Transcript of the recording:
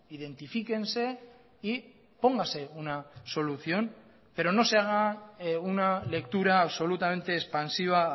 identifíquense y póngase una solución pero no sé haga una lectura absolutamente expansiva